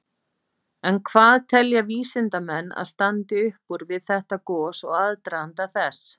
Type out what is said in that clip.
En hvað telja vísindamenn að standi upp úr við þetta gos og aðdraganda þess?